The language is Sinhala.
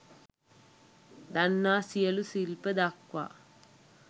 දන්නා සියලූ ශිල්ප දක්වා